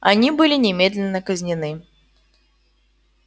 они были немедленно казнены